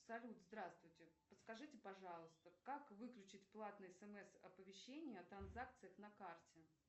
салют здравствуйте подскажите пожалуйста как выключить платные смс оповещения о транзакциях на карте